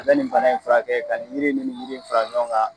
A bɛ nin bana in fura kɛ ka nin yiri ni nin yiri in fara ɲɔgɔn kan.